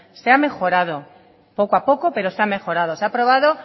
se ha mejorado poco a poco pero se ha mejorado se ha aprobado